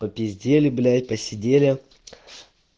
попиздели блять посидели